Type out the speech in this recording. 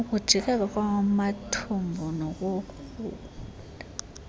ukujijeka kwamathumbu nokurhuda